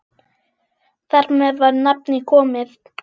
Þar með var nafnið komið.